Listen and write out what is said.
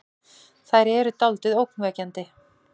Þær eru dáldið ógnvekjandi.